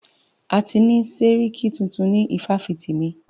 A ti ni sẹ́ríkí tuntun ni ifáfitì mí.